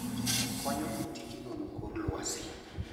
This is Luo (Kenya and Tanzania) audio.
Okonyo e tij nono kor lwasi.